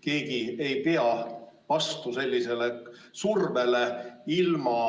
Keegi ei pea vastu sellisele survele ilma